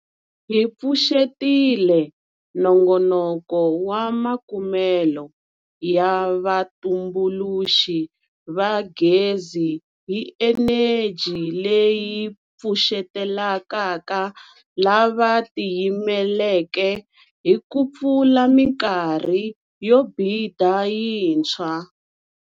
Hi pfuxetile Nongonoko wa Makumelo ya Vatumbuluxi va Gezi hi Eneji leyi Pfuxetelekaka lava Tiyimeleke hi ku pfula mikarhi yo bida yintshwa.